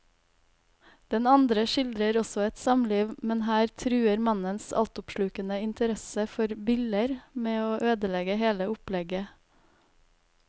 Den andre skildrer også et samliv, men her truer mannens altoppslukende interesse for biller med å ødelegge hele opplegget.